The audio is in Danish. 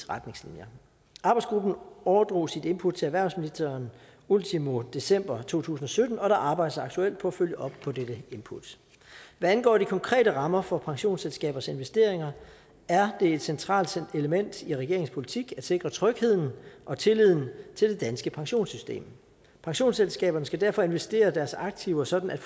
retningslinjer arbejdsgruppen overdrog sit input til erhvervsministeren ultimo december to tusind og sytten og der arbejdes aktuelt på at følge op på dette input hvad angår de konkrete rammer for pensionsselskabers investeringer er det et centralt element i regeringens politik at sikre trygheden og tilliden til det danske pensionssystem pensionsselskaberne skal derfor investere deres aktiver sådan at